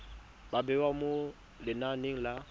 ba bewa mo lenaneng la